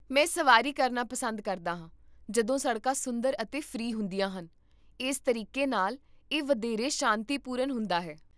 ਮੈਂ ਸਵਾਰੀ ਕਰਨਾ ਪਸੰਦ ਕਰਦਾ ਹਾਂ ਜਦੋਂ ਸੜਕਾਂ ਸੁੰਦਰ ਅਤੇ ਫ੍ਰੀ ਹੁੰਦੀਆਂ ਹਨ, ਇਸ ਤਰੀਕੇ ਨਾਲ, ਇਹ ਵਧੇਰੇ ਸ਼ਾਂਤੀਪੂਰਨ ਹੁੰਦਾ ਹੈ